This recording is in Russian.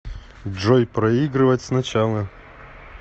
джой проигрывать сначала